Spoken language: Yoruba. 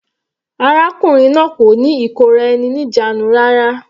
Arákùnrin náà kò ní ìkóra-eni-ní-ìjánu rárá.